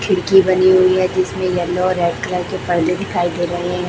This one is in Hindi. खिड़की बनी हुई है जिसमें येलो और रेड कलर के पर्दे दिखाई दे रहे हैं।